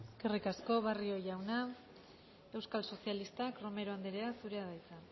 eskerrik asko barrio jauna euskal sozialistak romero andrea zurea da hitza